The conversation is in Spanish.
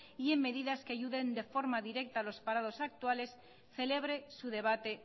y en medidas que ayuden de forma directa a los parados actuales celebre su debate